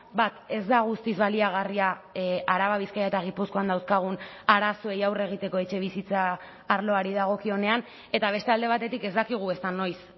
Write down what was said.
bat ez da guztiz baliagarria araba bizkaia eta gipuzkoan dauzkagun arazoei aurre egiteko etxebizitza arloari dagokionean eta beste alde batetik ez dakigu ezta noiz